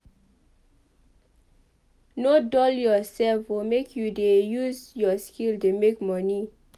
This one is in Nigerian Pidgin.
Nor dull yoursef o make you dey use your skill dey make moni.